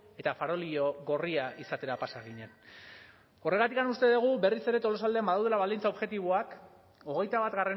eta farolillo gorria izatera pasa ginen horregatik uste dugu berriz ere tolosaldean badaudela baldintza objektiboak hogeita bat